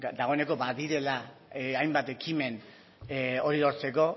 dagoeneko badirela hainbat ekimen hori lortzeko